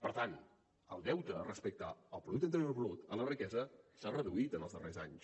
per tant el deute respecte al producte interior brut a la riquesa s’ha reduït en els darrers anys